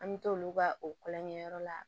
An bɛ t'olu ka o kulonkɛ yɔrɔ la